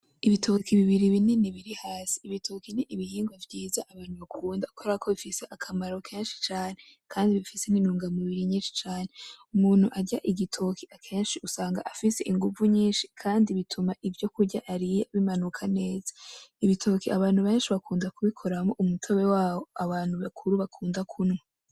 Ibitoki bibiri binini biri hasi, ibitoki ni ibihingwa vyiza abantu bakunda kubera ko bifise akamaro kenshi cane; kandi bifise intunga mubiri nyinshi cane, umuntu arya igitoki akenshi usanga afise inguvu nyinshi kandi bituma ivyo kurya ariye bimanuka neza, ibitoke abantu benshi bakunda kubikoramwo umutobe wawo abantu bakuru bakunda kunywa.